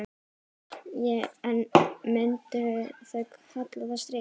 En myndu þau kalla það stríð?